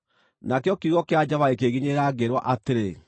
Nakĩo kiugo kĩa Jehova gĩkĩnginyĩrĩra, ngĩĩrwo atĩrĩ: